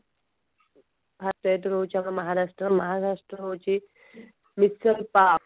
first state ରହୁଛି ଆମର ମହାରାଷ୍ଟ୍ର ମହାରାଷ୍ଟ୍ର ହଉଛି ମିଶେଲ ପା